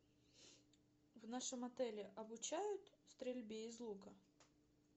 в нашем отеле обучают стрельбе из лука